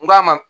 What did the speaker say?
N k'a ma